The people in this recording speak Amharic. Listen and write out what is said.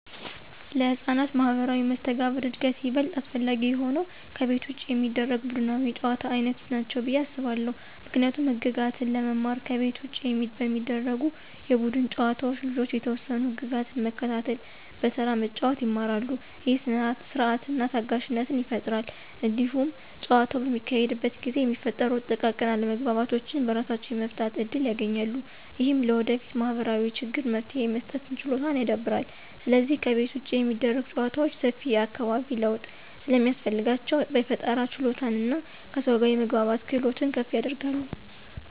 ለሕፃናት ማኅበራዊ መስተጋብር እድገት ይበልጥ አስፈላጊ የሆኑት ከቤት ውጭ የሚደረጉ ቡድናዊ የጨዋታ ዓይነቶች ናቸው ብዬ አስባለሁ። ምክንያቱም ህግጋትን ለመማር ከቤት ውጭ በሚደረጉ የቡድን ጨዋታዎች ልጆች የተወሰኑ ህግጋትን መከተልና በተራ መጫወት ይማራሉ። ይህ ሥርዓትንና ታጋሽነትን ይፈጥራል። እንዲሁም ጨዋታው በሚካሄድበት ጊዜ የሚፈጠሩ ጥቃቅን አለመግባባቶችን በራሳቸው የመፍታት እድል ያገኛሉ። ይህም ለወደፊት ማኅበራዊ ችግሮች መፍትሄ የመስጠት ችሎታን ያዳብራል። ስለዚህ ከቤት ውጭ የሚደረጉ ጨዋታዎች ሰፊ የአካባቢ ለውጥ ስለሚያስፈልጋቸው፣ የፈጠራ ችሎታንና ከሰዎች ጋር የመግባባትን ክህሎት ከፍ ያደርጋሉ።